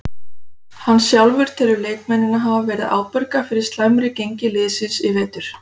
Hann sjálfur telur leikmennina hafa verið ábyrga fyrir slæmi gengi liðsins í vetur.